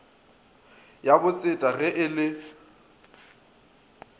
ya botseta ge e le